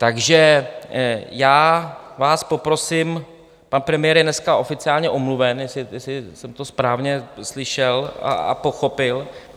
Takže já vás poprosím: pan premiér je dneska oficiálně omluven, jestli jsem to správně slyšel a pochopil?